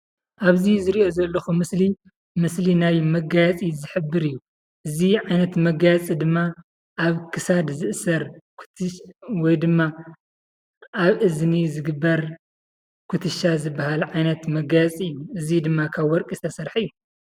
ኣብዚ ዝሪኦ ዘለኹ ምስሊ ምስሊ ናይ መጋየፂ እዚ ዓይነት መጋየፂ ድማ ኣብ ክሳድ ዝእሰር ወይ ድማ ኣብ እዝኒ ዝግበር ኩትሻ ዝበሃል መጋየፂ እዚ ድማ ካብ ወርቂ ዝተሰረሐ እየ።